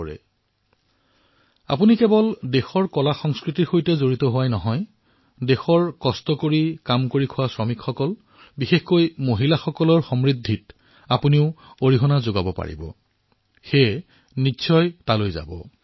আপোনালোকে ইয়াৰ জৰিয়তে কেৱল দেশৰ কলাসংস্কৃতিৰ সৈতে জড়িত হোৱাই নহয় বৰঞ্চ দেশৰ পৰিশ্ৰমী কাৰিকৰ বিশেষকৈ মহিলাসকলৰ সমৃদ্ধিৰ সৈতেও অংশীদাৰ হব নিশ্চয়কৈ তালৈ যাওক